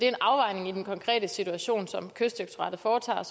en afvejning i den konkrete situation som kystdirektoratet foretager og